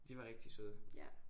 De var rigtig søde